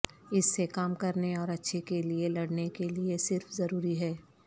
اس سے کام کرنے اور اچھے کے لئے لڑنے کے لئے صرف ضروری ہے